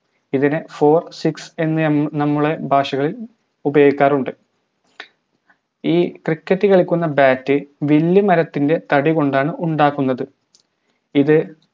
ഇതിനെ four six എന്ന് നമ്മുടെ ഭാഷകളിൽ ഉപയോഗിക്കാറുമുണ്ട് ഈ cricket കളിക്കുന്ന bat വില്ലുമരത്തിന്റെ തടികൊണ്ടാണ് ഉണ്ടാക്കുന്നത് ഇത്